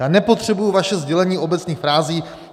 Já nepotřebuji vaše sdělení obecných frází.